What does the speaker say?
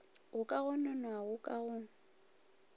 go ka gononwago ka ga